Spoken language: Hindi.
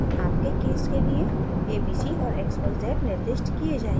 आपके case के लिए abc और xyz निर्दिष्ट किये जायेंगे